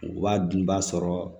Wa dunbaa sɔrɔ